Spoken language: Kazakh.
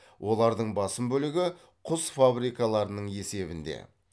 олардың басым бөлігі құс фабрикаларының есебінде